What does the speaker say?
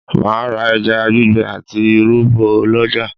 Mà á ra ẹja gbígbẹ àti irú bọ̀ lọ́jà